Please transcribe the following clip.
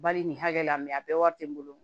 Bari nin hakɛ la mɛ a bɛɛ wari tɛ n bolo